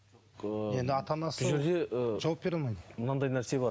енді ата анасына бұл жерде ы жауап бере алмайды мынандай нәрсе бар